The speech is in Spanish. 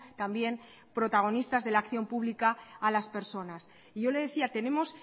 también protagonistas de la acción pública a las personas y yo le decía tenemos